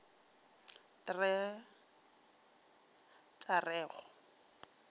t t a re go